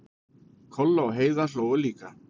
Kolla og Heiða hlógu líka.